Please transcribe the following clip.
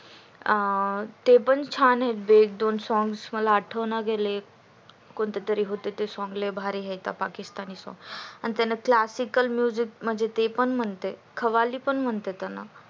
अं ते पण छान आहेत जे दोन songs आठवत नाही कोणते तरी होते ते दोन songs भारी आहे का पाकिस्तानी song आणि त्याला classical song आहे बघ ते पण म्हणता येत